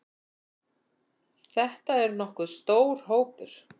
Þetta er nokkuð stór hópur.